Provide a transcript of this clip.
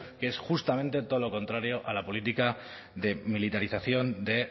que es justamente todo lo contrario a la política de militarización de